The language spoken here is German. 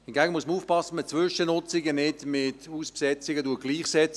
Hingegen muss man aufpassen, dass man Zwischennutzungen nicht mit Hausbesetzungen gleichsetzt.